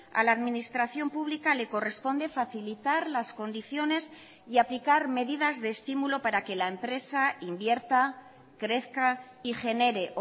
a la administración pública le corresponde facilitar las condiciones y aplicar medidas de estímulo para que la empresa invierta crezca y genere